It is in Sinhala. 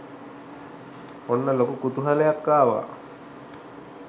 ඔන්න ලොකු කුතුහලයක් ආවා.